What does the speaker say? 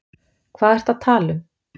Hvað ertu að tala um?